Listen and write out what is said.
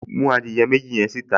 Mú adìẹ méjì yẹn síta